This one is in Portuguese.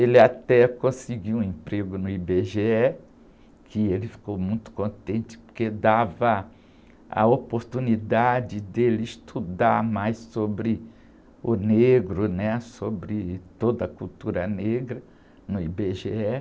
Ele até conseguiu um emprego no í-bê-gê-é, que ele ficou muito contente, porque dava a oportunidade dele estudar mais sobre o negro, né? Sobre toda a cultura negra no í-bê-gê-é.